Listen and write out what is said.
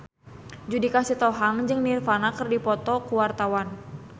Judika Sitohang jeung Nirvana keur dipoto ku wartawan